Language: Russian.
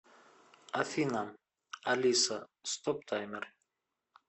афина алиса стоп таймер